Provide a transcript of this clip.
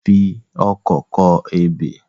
A ń fi ọkọ́ kọ ebè.